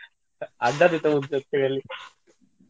আড্ডা গেলে